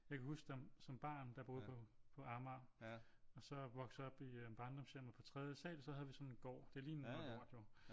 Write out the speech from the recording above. Jeg kan huske som barn der boede jeg på Amager og så voksede jeg op i barndomshjemmet på tredje sal så havde vi sådan en gård det lignede noget lort jo